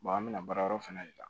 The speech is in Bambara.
an bɛ na baarayɔrɔ fana de la